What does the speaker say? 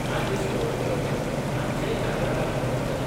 राजेश कवळेकर हांचेय ह्या वेळार उलवप जालें.